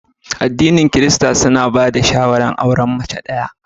Aɗinin kirista suna ba da shawara auren mace ɗaya.